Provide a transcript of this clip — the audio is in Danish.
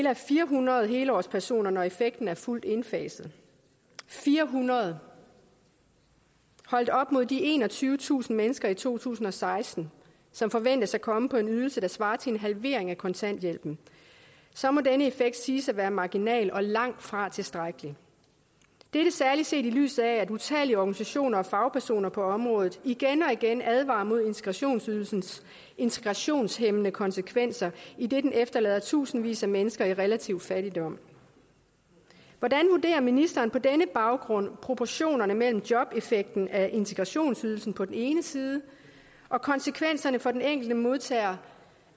er fire hundrede helårspersoner når effekten er fuldt indfaset fire hundrede holdt op mod de enogtyvetusind mennesker i to tusind og seksten som forventes at komme på en ydelse der svarer til en halvering af kontanthjælpen så må denne effekt siges at være marginal og langtfra tilstrækkelig dette særlig set i lyset af at utallige organisationer og fagpersoner på området igen og igen advarer mod integrationsydelsens integrationshæmmende konsekvenser idet den efterlader tusindvis af mennesker i relativ fattigdom hvordan vurderer ministeren på denne baggrund proportionerne mellem jobeffekten af integrationsydelsen på den ene side og konsekvenserne for den enkelte modtager